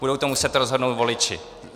Budou to muset rozhodnout voliči.